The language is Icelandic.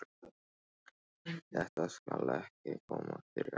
Þetta skal ekki koma fyrir aftur.